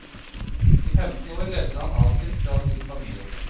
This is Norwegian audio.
I femten år levde han atskilt fra sin familie.